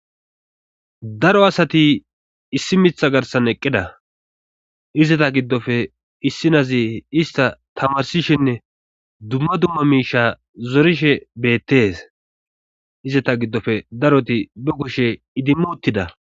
daro asati issi mitha garsan eqqida izata giddofe issinazi ista tamarsishinne dumma dumma miisha zorishe beettes izeta giddofe daroti be kushe idimmu uttida